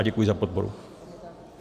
A děkuji za podporu.